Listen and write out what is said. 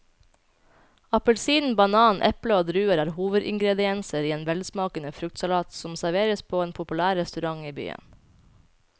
Appelsin, banan, eple og druer er hovedingredienser i en velsmakende fruktsalat som serveres på en populær restaurant i byen.